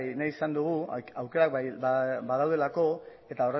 nahi izan dugu aukerak badaudelako eta